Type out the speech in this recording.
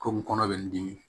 Komi kɔnɔ bɛ n dimi